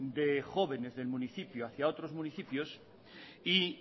de jóvenes del municipio hacia otros municipios y